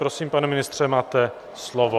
Prosím, pane ministře, máte slovo.